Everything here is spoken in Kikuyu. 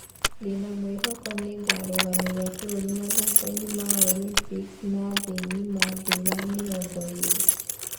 Ndĩna mwĩhoko ningarũgamĩrĩra bũrũri mathako inĩ ma Olympics na thĩ ngima thĩ wa mĩrongo ĩrĩ